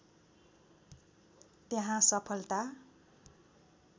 त्यहाँ सफलता